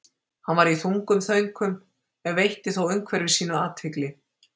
Hann var í þungum þönkum en veitti þó umhverfi sínu athygli.